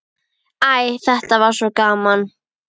Æ, þetta var svo gaman.